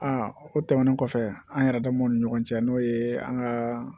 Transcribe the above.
A o tɛmɛnen kɔfɛ an yɛrɛ damaw ni ɲɔgɔn cɛ n'o ye an ka